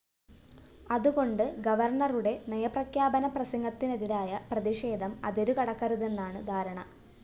അതുകൊണ്ട് ഗവര്‍ണറുടെ നയപ്രഖ്യാപന പ്രസംഗത്തിനെതിരായ പ്രതിഷേധം അതിരു കടക്കരുതെന്നാണ് ധാരണ